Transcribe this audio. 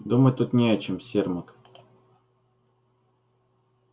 думать тут не о чем сермак